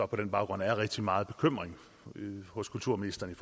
på den baggrund er rigtig meget bekymring hos kulturministeren i